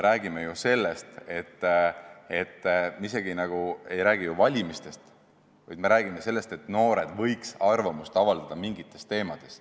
Praegusel juhul me ei räägi isegi valimistest, me räägime sellest, et noored võiks arvamust avaldada mingites küsimustes.